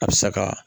A bɛ sa ka